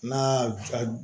N'a